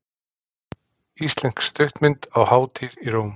Íslensk stuttmynd á hátíð í Róm